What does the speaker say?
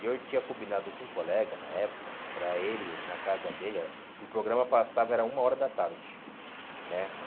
E eu tinha combinado com um colega na época, para ele, na casa dele, ah e o programa passava, era uma hora da tarde, né?